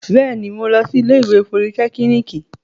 Bẹ́ẹ̀ni, mo lọ sí ilé ìwé politẹ́kíníìkì